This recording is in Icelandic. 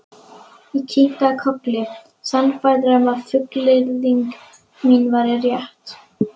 Ég kinkaði kolli, sannfærður um að fullyrðing mín væri rétt.